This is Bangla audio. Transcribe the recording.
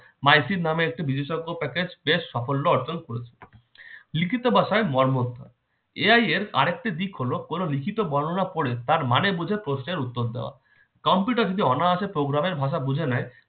নামে একটি বিশেষ বেস সাফল্য অর্জন করেছে লিখিত ভাষায় মরমর্ধ AI এর আরেকটি দিক হল কোন লিখিত বর্ণনা পদে তার মানে বুঝে প্রশ্নের উত্তর দেওয়া কম্পিউটার যে অনায়সে programme এর ভাষা বুঝে নেয়